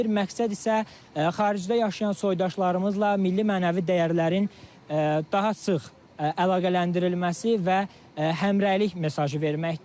Məqsəd isə xaricdə yaşayan soydaşlarımızla milli-mənəvi dəyərlərin daha sıx əlaqələndirilməsi və həmrəylik mesajı verməkdir.